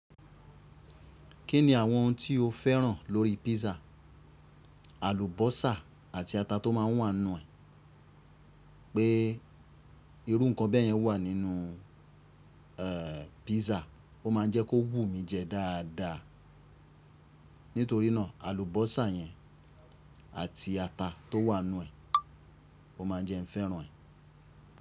Kí ni àwọn ohun tí o féràn lórí písà? Àlùbọ́sà àti ata tó má ń wà nuan, pé irú nǹkan bẹ́ẹ̀ yẹn wà nínú eh písà, ó má ń jẹ́ kó wù mí jẹ dáadáa. Nítorí náà, àlùbọ́sà yẹn àti ata tó wà nuan, ó má ń jẹ́ n fẹ́ràn ẹ.